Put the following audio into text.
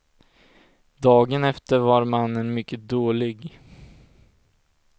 Dagen efter var mannen mycket dålig.